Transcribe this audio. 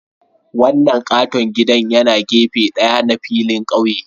Wannan katon gida yana gefe ɗaya na filin ƙauye